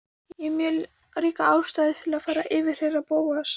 Ég hef mjög ríka ástæðu til að yfirheyra Bóas.